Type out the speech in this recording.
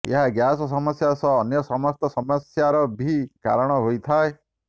ଏହା ଗ୍ୟାସ୍ ମମସ୍ୟା ସହ ଅନ୍ୟ ସମସ୍ତ ସମସ୍ୟର ବି କାରଣ ହୋଇଥାଏ